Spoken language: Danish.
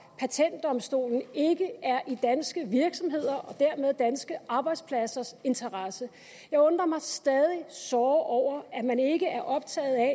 patentdomstolen ikke er i danske virksomheders og dermed danske arbejdspladsers interesse jeg undrer mig stadig såre over at man ikke er optaget af